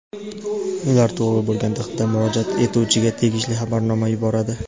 ular to‘g‘ri bo‘lgan taqdirda murojaat etuvchiga tegishli xabarnoma yuboradi.